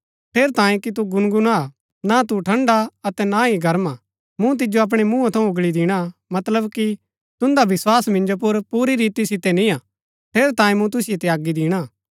ठेरैतांये कि तु गुनगुना हा ना तू ठंड़ा अतै ना ही गर्म हा मूँ तिजो अपणै मुँहा थऊँ उँगळी दिणा मतलब कि तुन्दा विस्वास मिन्जो पुर पुरी रीति सितै निय्आ ठेरैतांये मूँ तुसिओ त्यागी दिणा